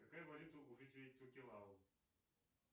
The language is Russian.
какая валюта у жителей токелау